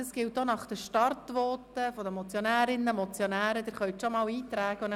Sie können sich schon mal nach den Startvoten der Motionärinnen und Motionäre in die Rednerliste eintragen.